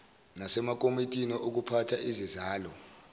nasemakomitini okuphatha izizalo